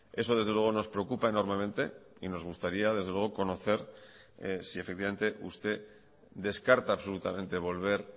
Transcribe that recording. eso desde luego nos preocupa enormemente y nos gustaría desde luego conocer si efectivamente usted descarta absolutamente volver